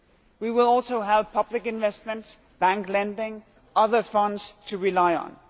we will also have public investments, bank-lending and other funds to rely on.